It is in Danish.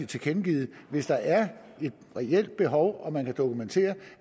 tilkendegivet at hvis der er et reelt behov og man kan dokumentere